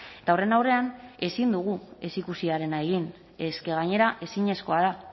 eta horren aurrean ezin dugu ez ikusiarena egin es que gainera ezinezkoa da